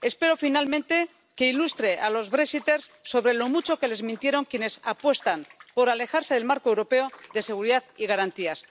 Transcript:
Espero, finalmente, que ilustre a los Brexiters sobre lo mucho que les mintieron quienes apuestan por alejarse del marco europeo de seguridad y garantías.